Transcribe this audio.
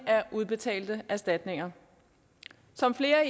af udbetalte erstatninger som flere